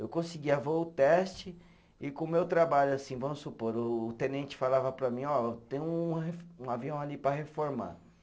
Eu conseguia voo teste e com o meu trabalho, assim, vamos supor, o tenente falava para mim, ó, tem um re, um avião ali para reformar.